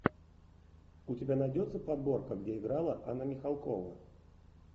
у тебя найдется подборка где играла анна михалкова